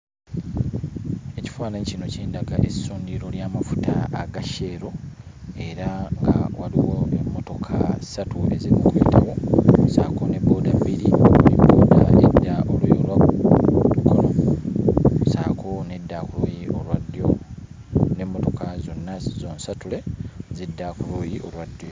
Ekifaananyi kino kindaga essundiro ly'amafuta aga Shell era nga waliwo n'emmotoka ssatu eziri mu kuyitawo ssaako ne bbooda bbiri ng'emu edda oluuyi olwa kkono ssaako n'edda ku luuyi olwa ddyo, n'emmotoka zonna zonsatule zidda Ku luuyi olwa ddyo.